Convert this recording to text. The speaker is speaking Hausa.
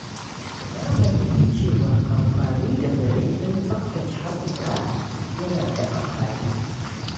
Na fahimci cewa amfani da zare don tsaftace haƙora yana da amfani.